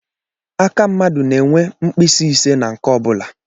Aka mmadụ na-enwe mkpịsị ise na nke ọ bụla